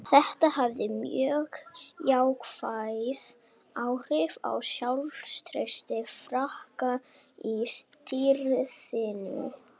Þetta hafði mjög jákvæð áhrif á sjálfstraust Frakka í stríðinu.